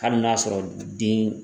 Hali n'a ya sɔrɔ den